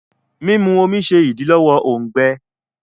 Mímú omí ṣe idilọwọ òùngbẹ.